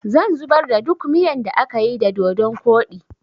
zan zubar da duk miyan da akayi da dodun koɗi